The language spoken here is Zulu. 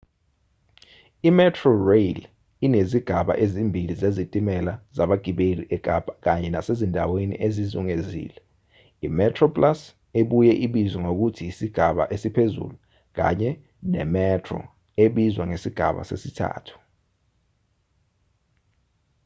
imetrorail inezigaba ezimbili zezitimela zabagibeli ekapa kanye nasezindaweni ezizungezile: imetroplus ebuye ibizwe ngokuthi isigaba esiphezulu kanye nemetro ebizwa ngesigaba sesithathu